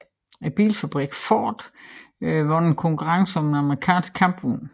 Bilfabrikken Ford vandt en konkurrence om en amerikansk kampvogn